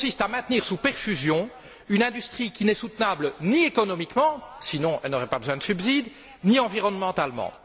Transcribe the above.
Elle consiste à maintenir sous perfusion une industrie qui n'est soutenable ni économiquement sinon elle n'aurait pas besoin de subsides ni environnementalement.